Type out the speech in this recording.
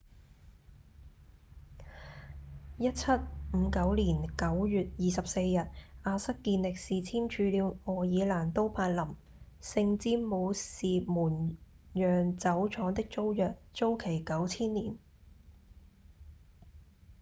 1759年9月24日亞瑟‧健力士簽署了愛爾蘭都柏林聖詹姆士門釀酒廠的租約租期九千年